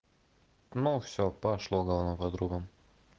ну все прошло гавно по трубам